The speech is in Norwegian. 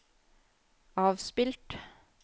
avspilt